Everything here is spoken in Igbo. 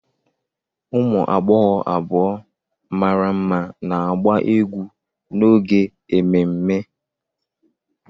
Ụmụ agbọghọ abụọ mara mma na-agba egwu n'oge ememme.